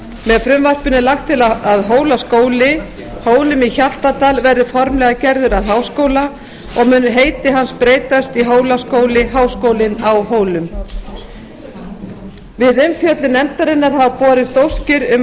með frumvarpinu er lagt til að hólaskóli hólum í hjaltadal verði formlega gerður að háskóla og mun heiti hans breytast í hólaskóli háskólinn á hólum við umfjöllun nefndarinnar hafa borist óskir